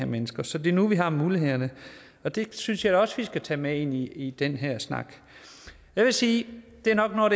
mennesker så det er nu vi har mulighederne og det synes jeg også vi skal tage med ind i i den her snak jeg vil sige at jeg nok har